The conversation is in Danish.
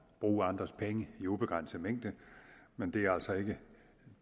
bruge andres penge i ubegrænset mængde men det er altså ikke